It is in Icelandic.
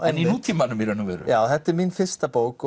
en í nútímanum já þetta er mín fyrsta bók